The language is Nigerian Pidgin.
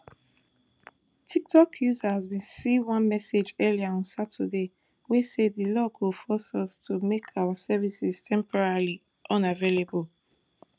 tiktok users bin see one message earlier on saturday wey say di law go force us to make our services temporarily unavailable